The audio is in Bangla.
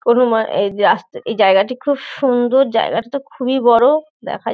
কোনো মা আ এই যে আস্তে এই জায়গাটি খুব সুন্দর। জায়গাটা তো খুবই বড়ো দেখা যা --